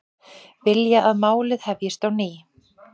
Vilja að málið hefjist á ný